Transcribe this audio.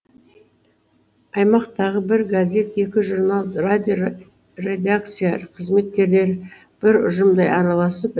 аймақтағы бір газет екі журнал радио редакция қызметкерлері бір ұжымдай араласып